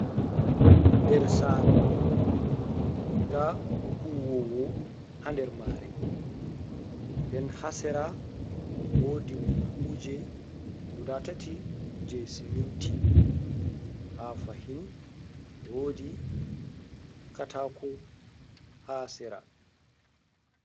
Nder sare ta huwowo ha nder mare, nden ha sera wodi buhuje dati je siminti, ha fahin wodi katako ha sera.